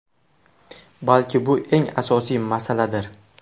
Balki bu eng asosiy masaladir?